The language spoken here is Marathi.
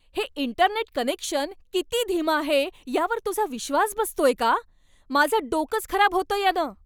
हे इंटरनेट कनेक्शन किती धीमं आहे यावर तुझा विश्वास बसतोय का? माझं डोकंच खराब होतंय यानं!